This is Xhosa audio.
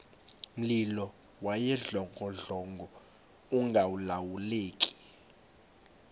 mlilo wawudlongodlongo ungalawuleki